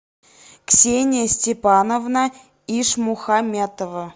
ксения степановна ишмухаметова